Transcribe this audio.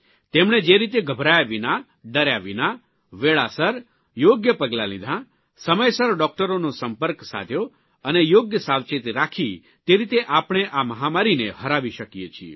તેમણે જે રીતે ગભરાયા વિના ડર્યા વિના વેળાસર યોગ્ય પગલાં લીધાં સમયસર ડૉકટરોનો સંપર્ક સાધ્યો અને યોગ્ય સાવચેતી રાખી તે રીતે આપણે આ મહામારીને હરાવી શકીએ છીએ